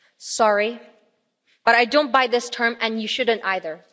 Sorry, but I don't buy this term, and you shouldn't either.